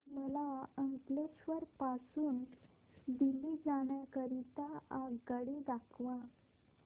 मला अंकलेश्वर पासून दिल्ली जाण्या करीता आगगाडी दाखवा